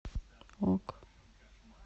ок